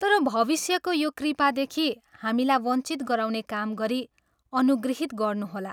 तर भविष्यको यो कृपादेखि हामीलाई वञ्चित गराउने काम गरी अनुगृहित गर्नुहोला।